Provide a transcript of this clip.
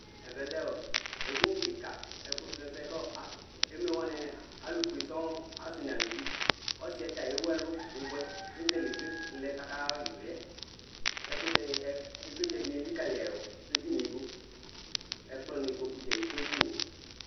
ɛvɛ lɛ edini kika ɛfu srɔsɛ k'emlɔ kɔ emlɔwanie, alu fue sɔ̃n asi n'aluvi, ɔsiɛ ta ewu ɛlu bubuɛ k'ezele ivli lɛ k'aka ha ivliɛ, ɛkutɛ ni, ivlitsɛ ni elikali edinìe du , ɛkplɔ n'ikpoku dza l'eku edinìe